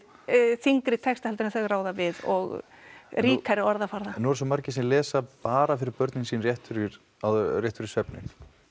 þyngri texta heldur en þau ráða við og ríkari orðaforða en nú eru svo margir sem lesa bara fyrir börnin sín rétt fyrir rétt fyrir svefninn